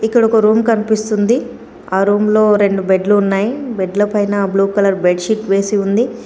ఇక్కడొక రూమ్ కన్పిస్తుంది. ఆ రూమ్లో రెండు బెడ్లు ఉన్నాయి. బెడ్ల పైన బ్లూ కలర్ బెడ్ షీట్ వేసి ఉంది.